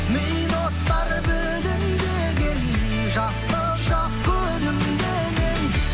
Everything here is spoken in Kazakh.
мида от бар білінбеген жастық шақ күлімдеген